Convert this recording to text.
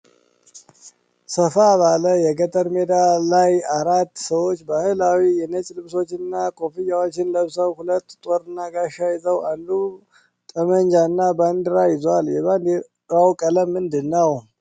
ሰፋ ባለ የገጠር ሜዳ ላይ አራት ሰዎች ባህላዊ የነጭ ልብሶችንና ኮፍያዎችን ለብሰዋል። ሁለቱ ጦርና ጋሻ ሲይዙ፣ አንዱ ጠመንጃና ባንዲራ ይዟል። የባንዲራው ቀለም ምንድን ነው?